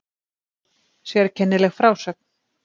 Sérkennileg frásögn